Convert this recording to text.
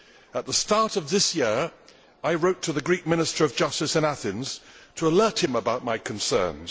At the start of this year I wrote to the Greek Minister of Justice in Athens to alert him to my concerns.